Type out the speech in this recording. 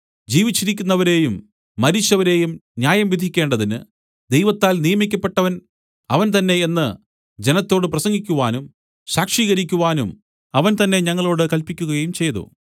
ജീവിച്ചിരിക്കുന്നവരേയും മരിച്ചവരേയും ന്യായം വിധിക്കേണ്ടതിന് ദൈവത്താൽ നിയമിക്കപ്പെട്ടവൻ അവൻ തന്നെ എന്ന് ജനത്തോടു പ്രസംഗിക്കുവാനും സാക്ഷീകരിക്കുവാനും അവൻ തന്നെ ഞങ്ങളോടു കല്പിക്കുകയും ചെയ്തു